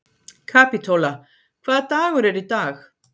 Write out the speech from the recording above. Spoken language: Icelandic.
Kapítóla, hvaða dagur er í dag?